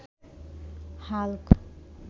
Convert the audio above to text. Hulk